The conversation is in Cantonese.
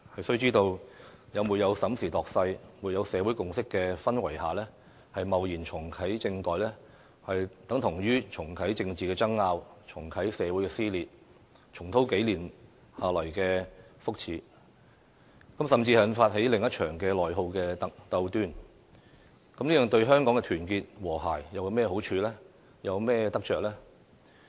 須知道，在沒有審時度勢，沒有社會共識的氛圍下貿然重啟政改，等同於重啟政治爭拗，重啟社會撕裂，重蹈數年下來的覆轍，甚至引發起另一場內耗鬥端，這對香港的團結和諧有甚麼好處和得着呢？